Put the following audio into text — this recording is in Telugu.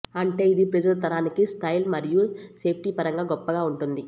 అంటే ఇది ప్రస్తుత తరానికి స్టైల్ మరియు సేఫ్టీ పరంగా గొప్పగా ఉంటుంది